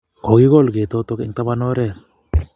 Kogikol ketotok eng' tapan oret